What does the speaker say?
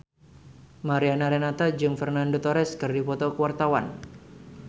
Mariana Renata jeung Fernando Torres keur dipoto ku wartawan